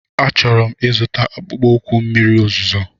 Achọrọ m ịzụta akpụkpọ ụkwụ mmiri ozuzo.